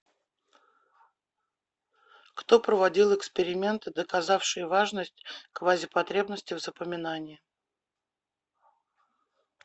кто проводил эксперименты доказавшие важность квазипотребности в запоминании